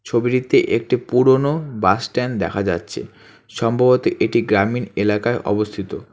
ছবিটিতে একটি পুরনো বাস স্ট্যান্ড দেখা যাচ্ছে সম্ভবত এটি গ্রামীন এলাকায় অবস্থিত।